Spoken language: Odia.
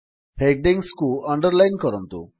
ହେଡିଙ୍ଗ୍ସକୁ ଅଣ୍ଡରଲାଇନ୍ କରନ୍ତୁ